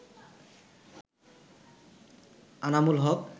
Anamul Haque